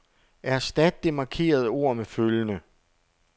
Erstat det markerede ord med følgende.